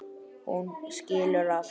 Hún skilur allt.